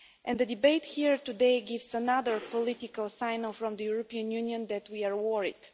The debate here today gives another political signal from the European Union that we are worried.